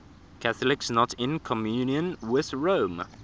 catholics not in communion with rome